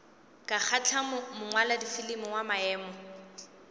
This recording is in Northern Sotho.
ka kgahla mongwaladifilimi wa maemo